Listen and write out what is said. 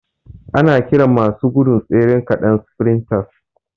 Ana kiran masu gudun tsere ƙaɗan sfrintas